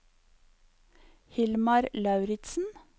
Hilmar Lauritzen